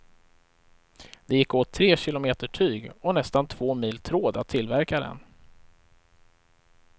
Det gick åt tre kilometer tyg och nästan två mil tråd att tillverka den.